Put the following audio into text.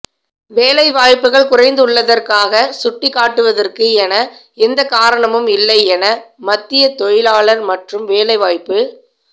வேலைவாய்ப்புகள் குறைந்துள்ளதற்காக சுட்டிக் காட்டுவதற்கு என எந்த காரணமும் இல்லை என மத்திய தொழிலாளா் மற்றும் வேலைவாய்ப்பு